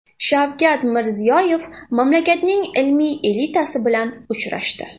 Shavkat Mirziyoyev mamlakatning ilmiy elitasi bilan uchrashdi.